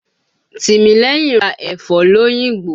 Tìmílẹ́yìn ra ẹ̀fọ́ l'Óyìngbò.